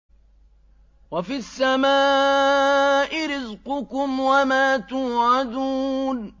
وَفِي السَّمَاءِ رِزْقُكُمْ وَمَا تُوعَدُونَ